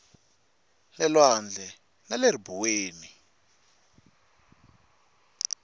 le lwandle na le ribuweni